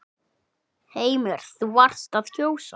Heimir: Þú varst að kjósa?